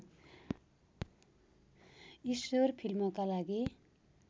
ईश्वर फिल्मका लागि